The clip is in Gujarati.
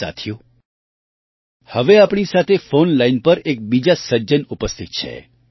સાથીઓ હવે આપણી સાથે ફૉન લાઇન પર એક બીજા સજ્જન ઉપસ્થિત છે